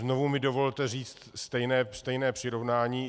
Znovu mi dovolte říct stejné přirovnání.